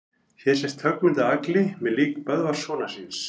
Hér sést höggmynd af Agli með lík Böðvars sonar síns.